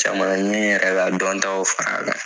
Caman na n bɛ yɛrɛ la dɔntɔw fara a kan.